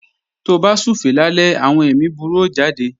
Tó bá súfèé lálẹ́, àwọn èmi búburú ó jáde